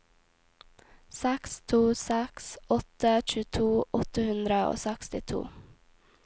seks to seks åtte tjueto åtte hundre og sekstito